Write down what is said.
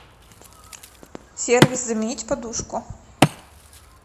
сервис заменить подушку